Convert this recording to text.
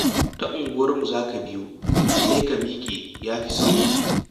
Ta unguwarmu za ka biyo, sai ka miƙe. Ya fi sauri